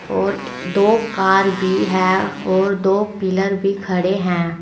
और दो कार भी है और दो पिलर भी खड़े है।